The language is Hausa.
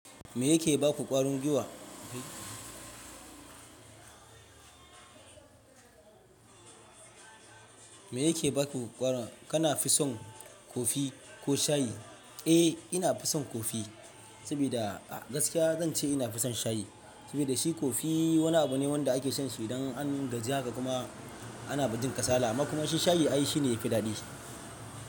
Me yake ba ku ƙwarin giwa? Me yake ba ku ƙwarin, kana fison kofi ko shayi? Eh ina fison kofi, sabida gaskiya zan ce ina fison shayi. Saboda shi kofi wani abu ne wanda ake shan su idan an gaji haka kuma ana ba jin kasala. Amma kuma shi shayi ai shi ne yafi daɗi.